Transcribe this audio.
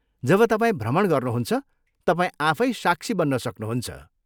जब तपाईँ भ्रमण गर्नुहुन्छ, तपाईँ आफै साक्षी बन्न सक्नुहुन्छ।